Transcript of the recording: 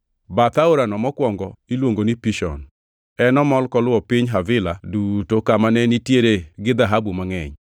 Bath aorano mokwongo iluongo ni Pishon; en omol koluwo piny Havila duto kama ne nitiere gi dhahabu mangʼeny.